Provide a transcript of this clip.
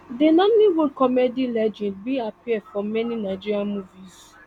di nollywood comedy legend bin appear for many nigerian movies